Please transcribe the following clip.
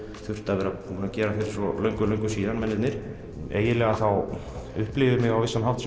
þurft að vera búnir að gera fyrir svo löngu löngu síðan mennirnir eiginlega þá upplifi ég mig á vissan hátt